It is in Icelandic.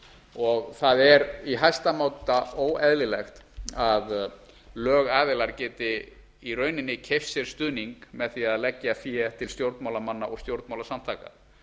og það er í hæsta máta óeðlilegt að lögaðilar geti í rauninni keypt sér stuðning með því að leggja fé til stjórnmálamanna og stjórnmálasamtaka